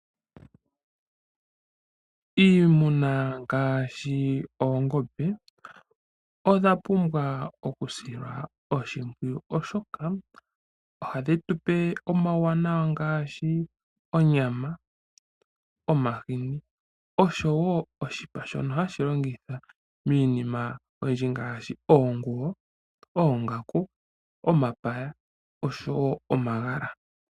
Iimuna ngaashi oongombe odha pumbwa okusilwa oshimpwiyu, oshoka ohadhi tupe omauwanawa ngaashi onyama, omahini oshowo oshipa shono hashi longithwa miinima oyindji ngaashi oonguwo, oongaku, omapaya oshowo omagala.